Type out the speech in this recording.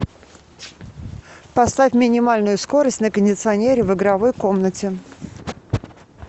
поставь минимальную скорость на кондиционере в игровой комнате